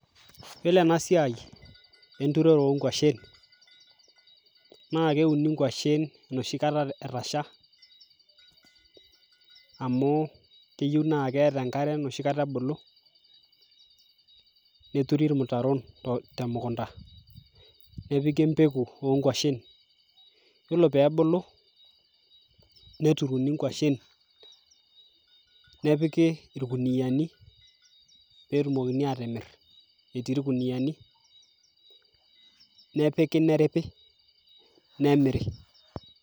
yiolo ena siai enturore onkuashen naa keuni inkuashen enoshikata etasha amu keyieu naa keeta enkare enoshi kata ebulu neturi irmutaron temukunta nepiki empeku onkuashen yiolo peebulu neturuni inkuashen nepiki irkuniani netumokini atimirr etii irkuniani nepiki neripi nemiri.